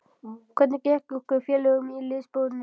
Og hvernig gekk ykkur félögum liðsbónin?